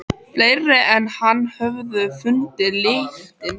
Hann var frjálslyndur maður af alþýðufólki kominn.